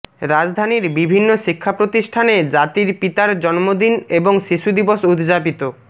রাজধানীর বিভিন্ন শিক্ষা প্রতিষ্ঠানে জাতির পিতার জন্মদিন এবং শিশু দিবস উদযাপিত